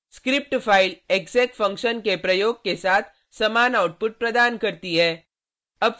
script file exec function के प्रयोग के साथ समान आउटपुट प्रदान करती है